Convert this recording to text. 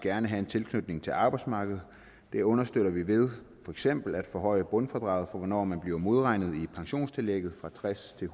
gerne have en tilknytning til arbejdsmarkedet det understøtter vi ved for eksempel at forhøje grundfradraget for hvornår man bliver modregnet i pensionstillægget fra tredstusind